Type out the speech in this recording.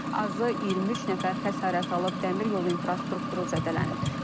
Azı 23 nəfər xəsarət alıb, dəmir yolu infrastrukturu zədələnib.